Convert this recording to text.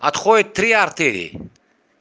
отходит три артерии